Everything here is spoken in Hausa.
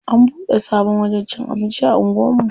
An bude sabon wajen cin abinci a anguwan mu.